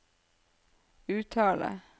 uttale